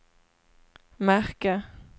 märke